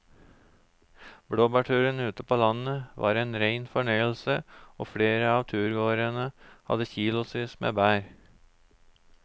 Blåbærturen ute på landet var en rein fornøyelse og flere av turgåerene hadde kilosvis med bær.